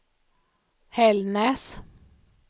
Hällnäs